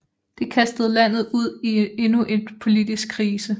Det kastede landet ud i endnu et politisk krise